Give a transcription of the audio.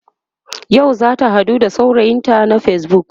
yau zata haɗu da saurayinta na facebook